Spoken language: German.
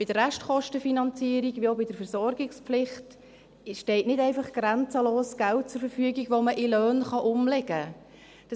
Bei der Restkostenfinanzierung wie auch bei der Versorgungspflicht steht nicht einfach grenzenlos Geld zur Verfügung, das man in Löhne umlegen kann.